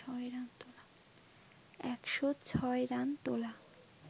১০৬ run তোলা